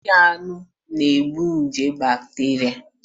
Isi anụ na-egbu nje bakteria